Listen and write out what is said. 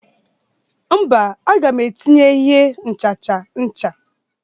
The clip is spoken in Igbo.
mba, aga m etinye ihe nchacha ncha